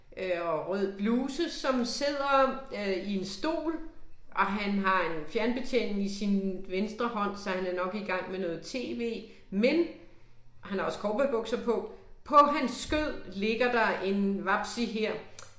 Øh og rød bluse som sidder øh i en stol og han har en fjernbetjening i sin venstre hånd, så han er nok i gang med noget TV men og han har også cowboybukser på på hans skød ligger der en vapsi her